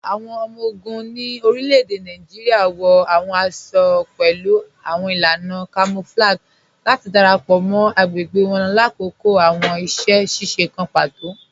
Awọn ọmọ-ogun ni orílẹ̀-èdè Nàìjíríà wọ awọn àṣọ-àṣọ̀ pẹ̀lú awọn ilànà kamọ̀flàgíì láti darapọ mọ́ agbẹ̀gbẹ̀ wọn lákọkọ̀ awọn iṣẹ̀-ṣiṣe kàn pátò.